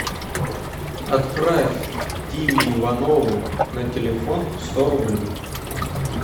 отправь диме иванову на телефон сто рублей